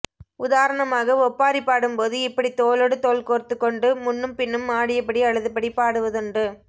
உதாரணமாக ஒப்பாரி பாடும்போது இப்படி தோளோடு தோள் கோர்த்துக்கொண்டு முன்னும்பின்னும் ஆடியபடி அழுதபடி பாடுவதுண்டு